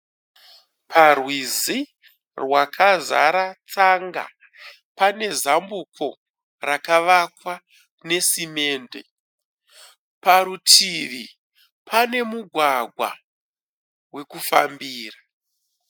Parwizi rwakazara tsanga, pane zambuko rakavakwa nesamende, parutivi pane mugwagwa wekufambira.